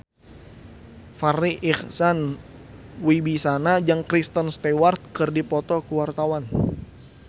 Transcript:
Farri Icksan Wibisana jeung Kristen Stewart keur dipoto ku wartawan